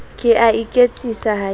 ke a iketsisa ha ke